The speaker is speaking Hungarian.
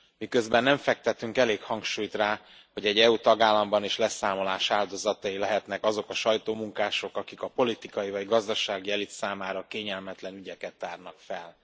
Miközben nem fektetünk elég hangsúlyt rá, hogy egy EU tagállamban is leszámolás áldozatai lehetnek azok a sajtómunkások, akik a politikai vagy gazdasági elit számára kényelmetlen ügyeket tárnak fel.